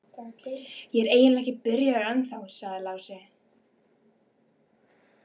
Ég er eiginlega ekki byrjaður ennþá, sagði Lási.